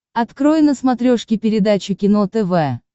открой на смотрешке передачу кино тв